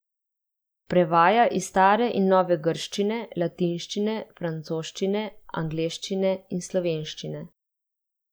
Prevaja iz stare in nove grščine, latinščine, francoščine, angleščine in slovenščine.